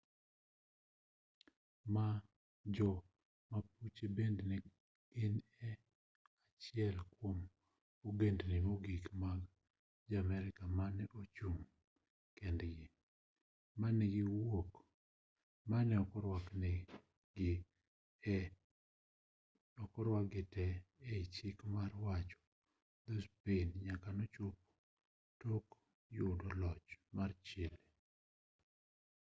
jo-mapuche bende ne gin achiel kwom ogendni mogik mag jo-amerka mane ochung' kendgi mane ok orwaki te ei chik mar wacho dho-spain nyaka nochopo tok yudo loch mar chile